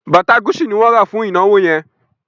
Bàtà Gucci ni wọ́n rà fún ìnáwó yẹn